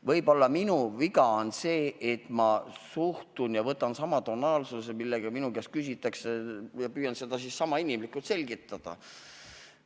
Võib-olla on minu viga see, et ma võtan vastates sama tonaalsuse, millega minu käest küsitakse, ja püüan siis sama inimlikult asja selgitada.